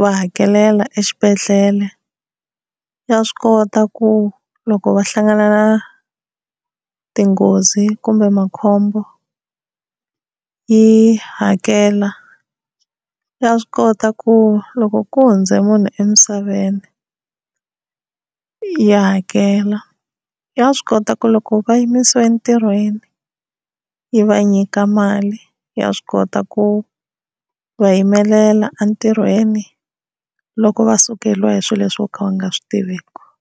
va hakelela exibedhlele, ya swi kota ku loko va hlangana na tinghozi kumbe makhombo yi hakela, ya swi kota ku loko ku hundze munhu emisaveni ya hakela, ya swi kota ku loko va yimisiwa entirhweni yi va nyika mali, ya swi kota ku va yimelela entirhweni loko va sukeriwa hi swilo leswi vo ka va nga swi tiviki.